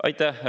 Aitäh!